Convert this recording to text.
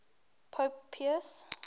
pope pius